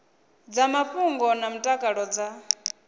dza mafhungo na mutakalo dza